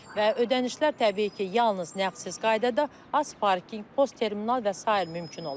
Və ödənişlər təbii ki, yalnız nəğdsiz qaydada az parking, post terminal və sair mümkün olacaqdır.